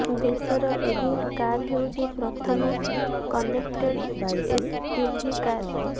ଦେଶର ଏହି କାର ହେଉଛି ପ୍ରଥମ କନେକ୍ଟେଡ ଏସୟୁଭି କାର